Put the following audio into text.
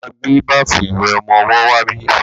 Mo ma gbé báfù ìwẹ̀ ọmọwọ́ wá bí.